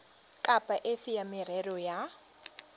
kapa efe ya merero ya